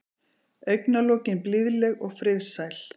Augnalokin blíðleg og friðsæl.